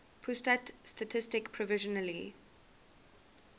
pusat statistik provisionally